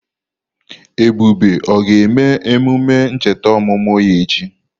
Ebube o ga-eme emume ncheta ọmụmụ ya echi?